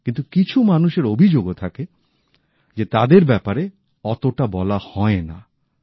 কিন্তু কিছু মানুষের অভিযোগও থাকে যে তাদের ব্যাপারে অতোটা বলা হয় না